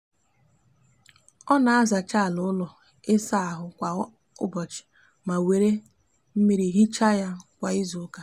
o na azacha ala ulo isa ahu kwa ubochi ma were miri hicha ya kwa izuuka